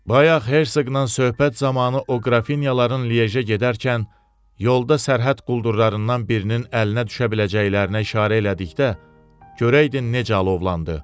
Bayaq Hersoqla söhbət zamanı o Qrafinyaların Lije gedərkən yolda sərhəd quldurlarından birinin əlinə düşə biləcəklərinə işarə elədikdə görəydin necə alovlandı.